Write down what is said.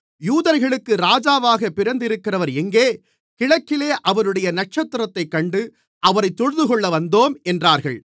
யூதர்களுக்கு ராஜாவாகப் பிறந்திருக்கிறவர் எங்கே கிழக்கிலே அவருடைய நட்சத்திரத்தைக் கண்டு அவரைத் தொழுதுகொள்ள வந்தோம் என்றார்கள்